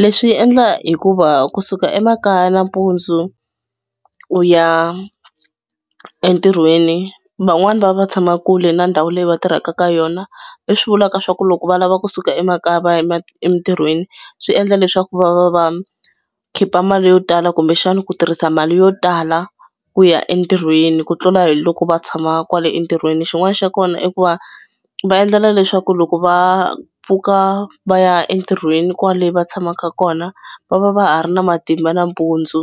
Leswi endla hikuva kusuka emakaya nampundzu u ya entirhweni van'wani va va tshama kule na ndhawu leyi va tirhaka ka yona leswi vulaka swa ku loko va lava kusuka emakaya va ya emitirhweni swi endla leswaku va va va khipa mali yo tala kumbexana ku tirhisa mali yo tala ku ya entirhweni ku tlula hi loko va tshama kwale entirhweni. Xin'wana xa kona i ku va va endlela leswaku loko va pfuka va ya entirhweni kwale va tshamaka kona va va va ha ri na matimba nampundzu